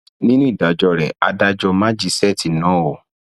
nínú ìdájọ rẹ adájọ májíṣẹẹtì náà o